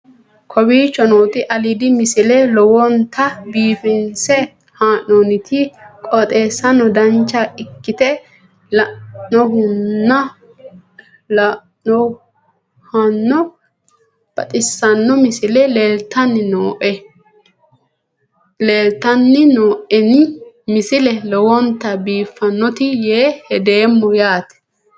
kowicho nooti aliidi misile lowonta biifinse haa'noonniti qooxeessano dancha ikkite la'annohano baxissanno misile leeltanni nooe ini misile lowonta biifffinnote yee hedeemmo yaate